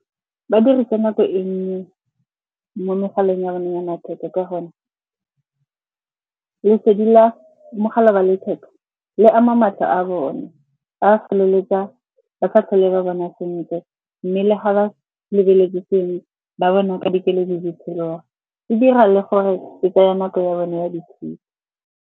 Badirisa nako e nnye mo megaleng ya bone ya matheka ka gonne lesedi la mogala wa letheka le ama matlho a bone. Ba feleletsa ba sa tlhole ba bona sentle, mme le ga ba lebeletse sengwe ba bona fa dikeledi di tshologa. E dira le gore ke tseye nako ya bone ya ditshedi.